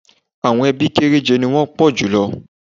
Àwọn ẹbí kéréje ni wọ́n wọ́ pọ̀ jùlọ